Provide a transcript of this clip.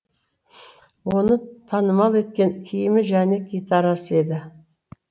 оны танымал еткен киімі және гитарасы еді